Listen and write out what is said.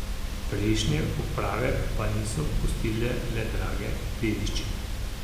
Prejšnje uprave pa niso pustile le drage dediščine.